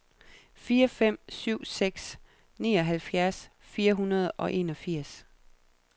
fire fem syv seks nioghalvfjerds fire hundrede og enogfirs